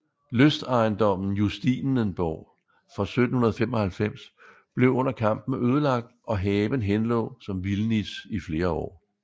Lystejendommen Justinenborg fra 1795 blev under kampen ødelagt og haven henlå som vildnis i flere år